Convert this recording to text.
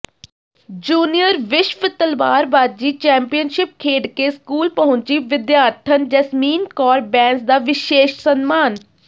junior ਵਿਸ਼ਵ ਤਲਵਾਰਬਾਜ਼ੀ championship ਖੇਡ ਕੇ ਸਕੂਲ ਪਹੁੰਚੀ ਵਿਦਿਆਰਥਣ ਜੈਸਮੀਨ ਕੌਰ ਬੈਂਸ ਦਾ ਵਿਸ਼ੇਸ਼ ਸਨਮਾਨ